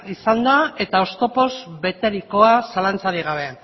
izan da eta oztopoz beterikoa zalantzarik gabe